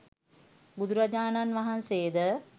බුදුරජාණන් වහන්සේ ද